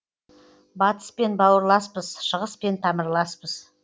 батыспен бауырласпыз шығыспен тамырласпыз